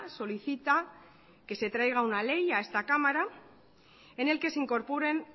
solicita que se traiga una ley a esta cámara en el que se incorporen